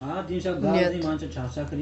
нет